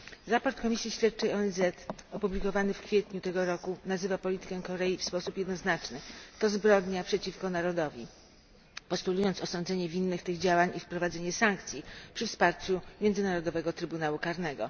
Raport Komisji Śledczej ONZ opublikowany w kwietniu tego roku nazywa politykę Korei w sposób jednoznaczny to zbrodnia przeciwko narodowi, postulując osądzenie winnych tych działań i wprowadzenie sankcji przy wsparciu Międzynarodowego Trybunału Karnego.